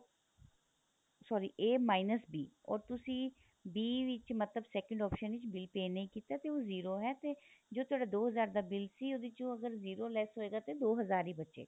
sorry a minus b or ਤੁਸੀਂ b ਵਿੱਚ ਮਤਲਬ second option ਵਿੱਚ bill pay ਨਹੀਂ ਕੀਤਾ ਤੇ ਉਹ zero ਹੈ ਤੇ ਜੋ ਤੁਹਾਡਾ ਦੋ ਹਜ਼ਾਰ ਦਾ bill ਸੀ ਉਹਦੇ ਚੋ ਅਗਰ zero less ਹੋਏਗਾ ਤਾਂ ਦੋ ਹਜ਼ਾਰ ਹੀ ਬਚੇਗਾ